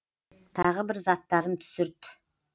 тағы бір заттарын түсірт